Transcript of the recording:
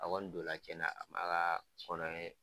A kɔni donna tiɲɛna a m'a ka kɔnɔni